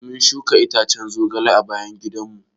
Mun shuka itacen zogale a bayan gidan mu.